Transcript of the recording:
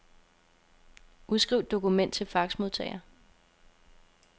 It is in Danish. Udskriv dokument til faxmodtager.